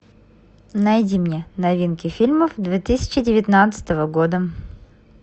найди мне новинки фильмов две тысячи девятнадцатого года